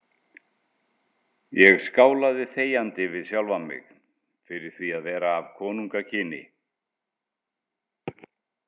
Ég skálaði þegjandi við sjálfan mig fyrir því að vera af konungakyni.